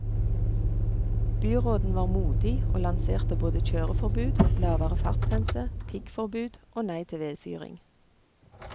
Byråden var modig og lanserte både kjøreforbud, lavere fartsgrense, piggforbud, og nei til vedfyring.